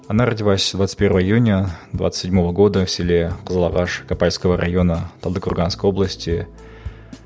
она родилась двадцать первого июня двадцать седьмого года в селе кзылагаш капальского района талдыкорганский области